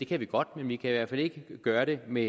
kan vi godt men vi kan i hvert fald ikke gøre det med